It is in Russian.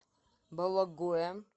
бологое